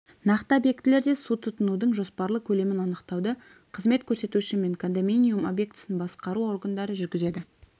нақты объектілерде су тұтынудың жоспарлы көлемін анықтауды қызмет көрсетуші мен кондоминиум объектісін басқару органдары жүргізеді